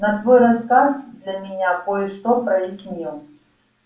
но твой рассказ для меня кое-что прояснил